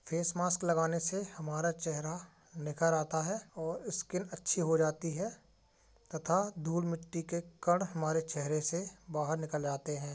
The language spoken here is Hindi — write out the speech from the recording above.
फेस मास्क लगाने से हमारा चेहरा निखर आता है। और स्किन अच्छी हो जाती है तथा धूल मिट्टी के कण हमारे चेहरे से बहार निकल आते हैं।